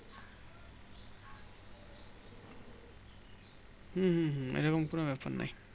হুম হুম হুম এই রকম কোনো ব্যাপার নেই